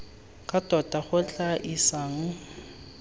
ka tota go tla isang